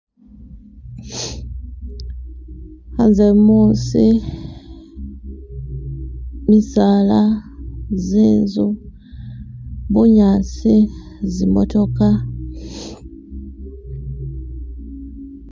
Khanze musi, misala , zinzu, bunyasi, zi'motoka .